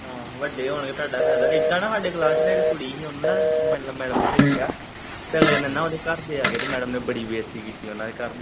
ਆਹੋ ਵੱਡੇ ਹੋਣਗੇ ਤੁਹਾਡਾ ਫੈਦਾ ਇਦਾਂ ਨਾ ਸਾਡੀ ਕਲਾਸ ਚ ਇੱਕ ਕੁੱੜੀ ਸੀ ਉਹਨੂੰ ਨਾ ਮਤਲਬ ਮੈਡਮ ਨੇ ਝਿੜਕਿਆਂ ਤੇ ਅਗਲੇ ਦਿਨ ਨਾ ਉਹਦੇ ਘਰਦੇ ਆ ਗਏ ਤੇ ਮੈਡਮ ਨੇ ਬੜੀ ਬੇਸਤੀ ਕੀਤੀ ਉਦੇ ਘਰਦਿਆਂ ਦੀ।